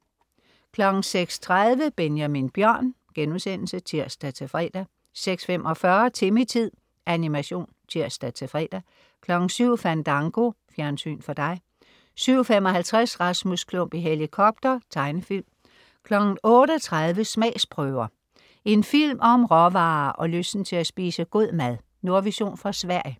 06.30 Benjamin Bjørn* (tirs-fre) 06.45 Timmy-tid. Animation (tirs-fre) 07.00 Fandango. Fjernsyn for dig 07.55 Rasmus Klump i helikopter. Tegnefilm 08.30 Smagsprøver. En film om råvarer og lysten til at spise god mad. Nordvision fra Sverige